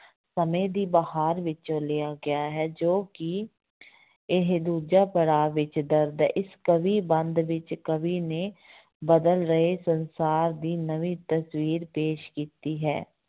ਸਮੈਂ ਦੀ ਬਹਾਰ ਵਿੱਚੋਂ ਲਿਆ ਗਿਆ ਹੈ ਜੋ ਕਿ ਇਹ ਦੂਜਾ ਪੜ੍ਹਾਅ ਵਿੱਚ ਦਰਜ਼ ਹੈ, ਇਸ ਕਵੀ ਬੰਧ ਵਿੱਚ ਕਵੀ ਨੇ ਬਦਲ ਰਹੇ ਸੰਸਾਰ ਦੀ ਨਵੀਂ ਤਸ਼ਵੀਰ ਪੇਸ਼ ਕੀਤੀ ਹੈ।